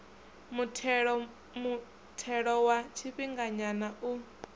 muthelo muthelo wa tshifhinganyana u